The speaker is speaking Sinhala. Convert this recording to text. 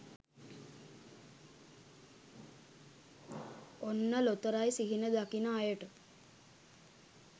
ඔන්න ලොතරැයි සිහින දකින අයට